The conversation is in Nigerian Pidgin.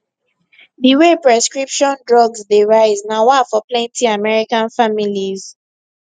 di way prescription drugs dey rise na wah for plenty american families